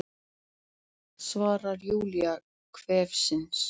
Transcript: svarar Júlía hvefsin.